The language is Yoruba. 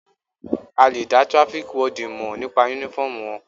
A lè dá traffic warden mọ̀ nípa uniform wọn.